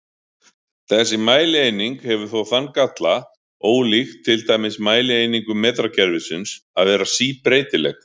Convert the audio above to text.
Þessi mælieining hefur þó þann galla, ólíkt til dæmis mælieiningum metrakerfisins, að vera síbreytileg.